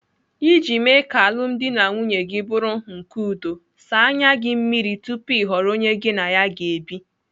Iji mee ka alụmdi na nwunye gị bụrụ nke udo, saa anya gị mmiri tupu ị họrọ onye gị na ya ga-ebi.